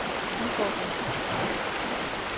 udfordring